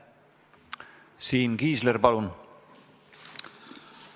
Siim Kiisler, palun!